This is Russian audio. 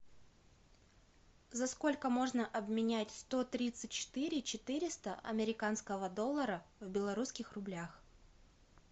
за сколько можно обменять сто тридцать четыре четыреста американского доллара в белорусских рублях